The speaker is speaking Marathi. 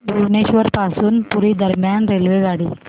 भुवनेश्वर पासून पुरी दरम्यान रेल्वेगाडी